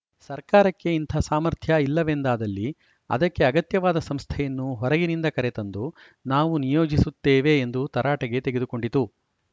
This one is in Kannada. ಸರ್ಕಾರಕ್ಕೆ ಇಂಥ ಸಾಮರ್ಥ್ಯ ಇಲ್ಲವೆಂದಾದಲ್ಲಿ ಅದಕ್ಕೆ ಅಗತ್ಯವಾದ ಸಂಸ್ಥೆಯನ್ನು ಹೊರಗಿನಿಂದ ಕರೆತಂದು ನಾವು ನಿಯೋಜಿಸುತ್ತೇವೆ ಎಂದು ತರಾಟೆಗೆ ತೆಗೆದುಕೊಂಡಿತು